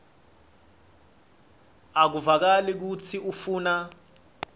akuvakali kutsi ufuna